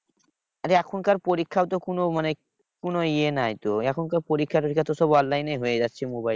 আর এখনকার পরীক্ষাও তো কোনো মানে কোনো ইয়ে নাই তো এখন সব পরীক্ষা টোরীক্ষা তো সব online এই হয়ে যাচ্ছে মোবাইলে।